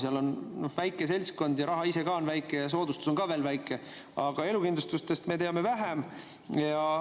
Seal on väike seltskond ja raha ka on väike ja soodustus on ka väike, aga elukindlustustest me teame vähem.